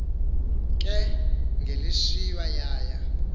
ke ngelishwa yaya